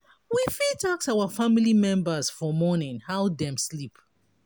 we fit ask our family members for morning how dem sleep